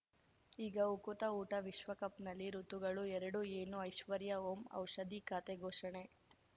ಈಗ ಉಕುತ ಊಟ ವಿಶ್ವಕಪ್‌ನಲ್ಲಿ ಋತುಗಳು ಎರಡು ಏನು ಐಶ್ವರ್ಯಾ ಓಂ ಔಷಧಿ ಖಾತೆ ಘೋಷಣೆ